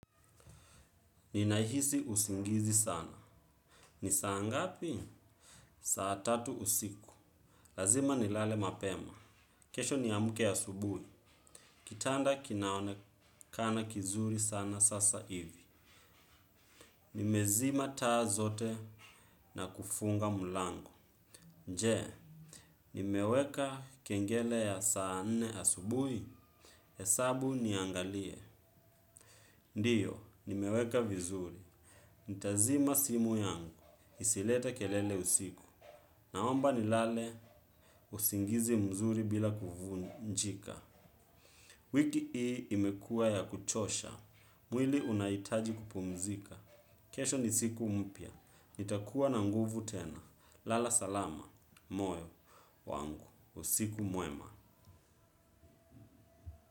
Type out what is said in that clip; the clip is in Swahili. Ninahisi usingizi sana. Ni saa ngapi? Saa tatu usiku. Lazima ni lale mapema. Kesho ni amke asubuhi. Kitanda kinaonekana kizuri sana sasa ivi. Nimezima taa zote na kufunga mlango. Je, ni meweka kengele ya saa nne ya asubuhi. Hesabu niangalie. Ndiyo, nimeweka vizuri. Ntazima simu yangu. Isilete kelele usiku. Naomba ni lale usingizi mzuri bila kuvu njika. Wiki hii imekua ya kuchosha. Mwili unahitaji kupumzika. Kesho ni siku mpya. Nitakuwa na nguvu tena. Lala salama. Moyo wangu. Usiku mwema.